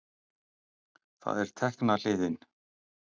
Það er tekna hliðin.